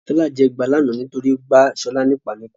Tọ́lá jẹ ẹgba lánàá nítorí pé ó gbá Ṣọ́lá ní ìpá níkùn.